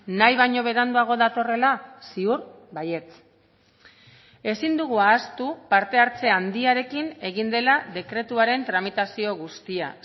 nahi baino beranduago datorrela ziur baietz ezin dugu ahaztu parte hartze handiarekin egin dela dekretuaren tramitazio guztia